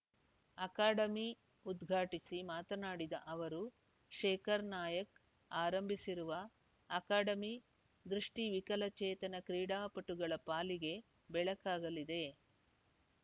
academy ಉದ್ಘಾಟಿಸಿ ಮಾತನಾಡಿದ ಅವರು ಶೇಖರ್‌ ನಾಯಾಕ್ ಆರಂಭಿಸಿರುವ ಅಕಾಡೆಮಿ ದೃಷ್ಟಿವಿಕಲಚೇತನ ಕ್ರೀಡಾಪಟುಗಳ ಪಾಲಿಗೆ ಬೆಳಕಾಗಲಿದೆ